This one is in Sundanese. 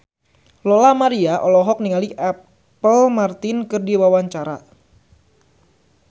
Lola Amaria olohok ningali Apple Martin keur diwawancara